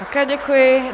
Také děkuji.